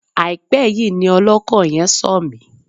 Àìpẹ́ yìí ni ọlọ́kọ̀ yẹn sọ̀ mí.